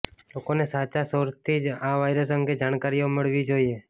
લોકોને સાચા સોર્સથી જ આ વાયરસ અંગે જાણકારીઓ મળવી જોઈએ